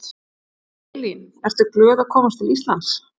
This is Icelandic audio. Elín: Ertu glöð að koma til Íslands?